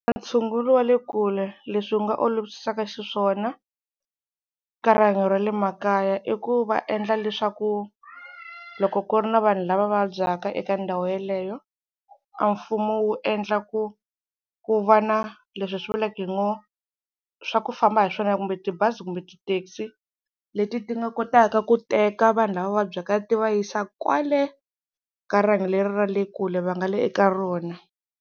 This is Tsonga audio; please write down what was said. Ntshungulo wa le kule leswi wu nga olovisaka xiswona ka rihanyo ra le makaya, i ku va endla leswaku loko ku ri na vanhu lava vabyaka eka ndhawu yaleyo, a mfumo wu endla ku ku va na leswi hi swi vulaka hi ngo swa ku famba hi swona kumbe tibazi kumbe tithekisi leti ti nga kotaka ku teka vanhu lava vabyaka ti va yisa kwale ka rihanyo leri ra le kule va nga le eka rona.